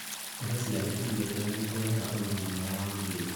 Kũhe ciana irio njega nĩ kũrehaga ũgima mwega wa mwĩrĩ.